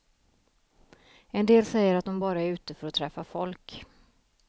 En del säger att de bara är ute för att träffa folk.